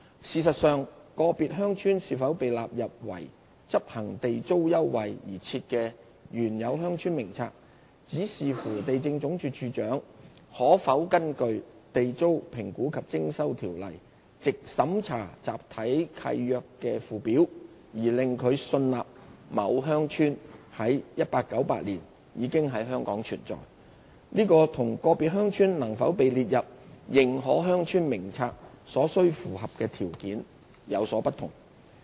事實上，個別鄉村是否被納入為執行地租優惠而設的《原有鄉村名冊》，只視乎地政總署署長可否根據《地租條例》藉審查集體契約的附表而令他信納某鄉村在1898年已在香港存在，這與個別鄉村能否被列入《認可鄉村名冊》所須符合的條件，有所不同。